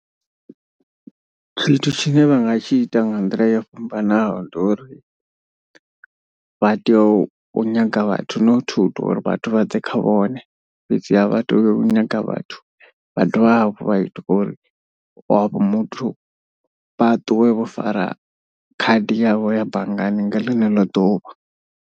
Tshithu tshine vha nga tshi ita nga nḓila yo fhambanaho ndi uri vha tea u nyaga vhathu not uri vhathu vha ḓe kha vhone. Fhedzi ha vha tea u nyaga vhathu vha dovha hafhu vha ita uri wavho muthu vha ṱuwe vho fara khadi yavho ya banngani nga ḽeneḽo ḓuvha.